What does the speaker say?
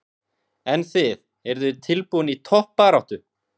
En þið, eruð þið tilbúin í toppbaráttu?